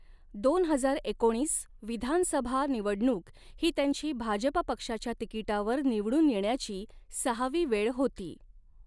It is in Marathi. दोन हजार एकोणीस विधानसभा निवडणुक ही त्यांची भाजप पक्षाच्या तिकिटावर निवडून येण्याची सहावी वेळ होती.